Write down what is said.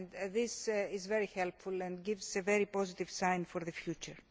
This is very helpful and gives us a very positive sign for the future.